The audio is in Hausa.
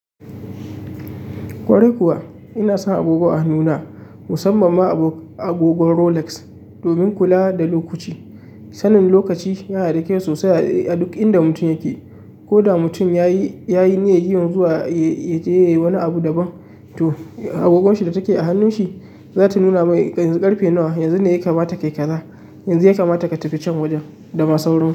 Ƙwarai kuwa ina sa agogo a hannuna musamman ma agogon Rolex domin kula da lokaci. Sanin lokaci yana da kyau sosai a duk inda mutum yake. Ko da mutum ya yi niyyar zuwa ya yi wani abu daban, to agogonshi da take a hannun shi za ta nuna mai yanzu ƙarfe nawa, yanzu ne ya kamata ka yi kaza, yanzu ya kamata ka tafi can wajen da ma sauran su.